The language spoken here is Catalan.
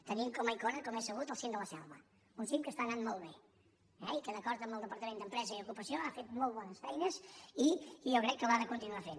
tenim com a icona com és sabut el cim de la selva un cim que està anant molt bé eh i que d’acord amb el departament d’empresa i ocupació ha fet molt bones feines i jo crec que les ha de continuar fent